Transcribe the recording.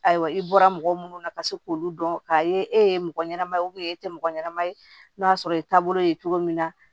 Ayiwa i bɔra mɔgɔ munnu na ka se k'olu dɔn k'a ye e ye mɔgɔ ɲɛnama ye e tɛ mɔgɔ ɲɛnama ye n'a y'a sɔrɔ e ye taabolo ye cogo min na